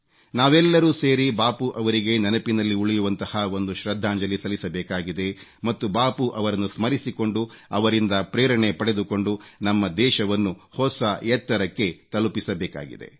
ನಾವೆಲ್ಲರೂ ಸೇರಿ ಬಾಪೂರವರಿಗೆ ನೆನಪಿನಲ್ಲಿ ಉಳಿಯುವಂತಹ ಒಂದು ಶ್ರದ್ಧಾಂಜಲಿ ಸಲ್ಲಿಸಬೇಕಾಗಿದೆ ಮತ್ತು ಬಾಪೂರವರನ್ನು ಸ್ಮರಿಸಿಕೊಂಡು ಅವರಿಂದ ಪ್ರೇರಣೆ ಪಡೆದುಕೊಂಡು ನಮ್ಮ ದೇಶವನ್ನು ಹೊಸ ಎತ್ತರಕ್ಕೆ ತಲುಪಿಸಬೇಕಾಗಿದೆ